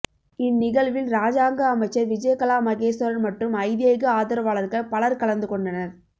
இந்நிகழ்வில் இராஜாங்க அமைச்சர் விஜயகலா மகேஸ்வரன் மற்றும் ஐதேக ஆதரவாளர்கள் பலர் கலந்துகொண்டனர்